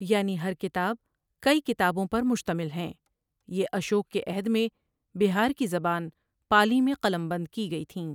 یعنی ہر کتاب کئی کتابوں پر مشتمل ہیں یہ اشوک کے عہد میں بہار کی زبان پالی میں قلمبند کی گئیں تھیں ۔